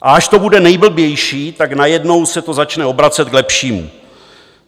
A až to bude nejblbější, tak najednou se to začne obracet k lepšímu.